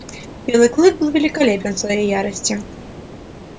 белый клык был великолепен в своей ярости